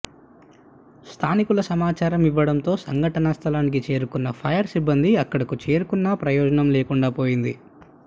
స్థానికులు సమాచారం ఇవ్వడంతో సంఘటనా స్థలానికి చేరుకున్న ఫైర్ సిబ్బంది అక్కడకు చేరుకున్నా ప్రయోజనం లేకుండా పోయింది